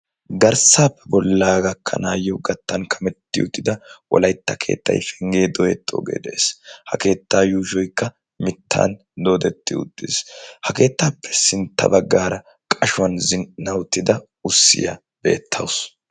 garssaappe bollaa gakkanaayyo gattan kametti uttida wolaitta keettai penggee doyexxoogee de'ees. ha keettaa yuushoikka mittan doodetti uttiis. ha keettaappe sintta baggaara qashuwan zin"a uttida ussiyaa beettausu.